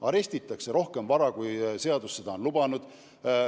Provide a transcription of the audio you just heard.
Arestitakse rohkem vara, kui seadus on lubanud.